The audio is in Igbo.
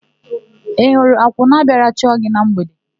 Ị hụrụ akwụna bịara chọọ gị na mgbede?